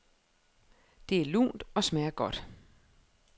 Det er lunt og smager godt.